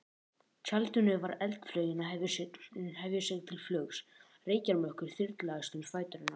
tjaldinu var eldflaugin að hefja sig til flugs, reykjarmökkur þyrlaðist um fætur hennar.